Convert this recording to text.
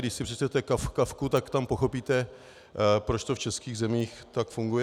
Když si přečtete Kafku, tak tam pochopíte, proč to v českých zemích tak funguje.